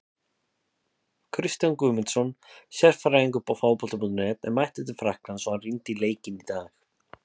Kristján Guðmundsson, sérfræðingur Fótbolta.net, er mættur til Frakklands og hann rýndi í leikinn í dag.